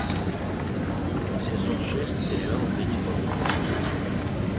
сезон шесть сериал ганнибал